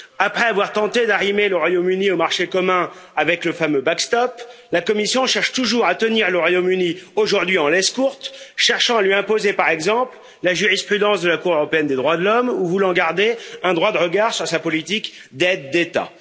Après avoir tenté d'arrimer le Royaume Uni au marché commun avec le fameux backstop la Commission cherche toujours aujourd'hui à tenir le Royaume Uni en laisse courte en cherchant à lui imposer, par exemple, la jurisprudence de la Cour européenne des droits de l'homme ou en voulant garder un droit de regard sur sa politique d'aides d'État.